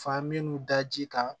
Fa minnu da ji kan